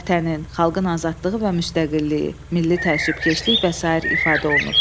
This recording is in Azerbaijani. Vətənin, xalqın azadlığı və müstəqilliyi, milli təəssübkeşlik və sair ifadə olunub.